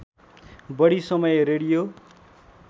बढी समय रेडियो